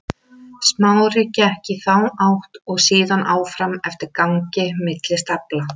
Smári gekk í þá átt og síðan áfram eftir gangi milli stafla.